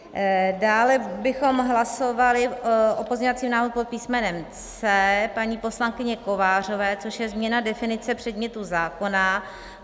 Dále bychom hlasovali o pozměňovacím návrhu pod písmenem C paní poslankyně Kovářové, což je změna definice předmětu zákona.